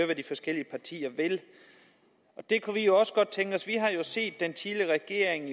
hvad de forskellige partier vil det kunne vi jo også godt tænke os vi har jo set at den tidligere regering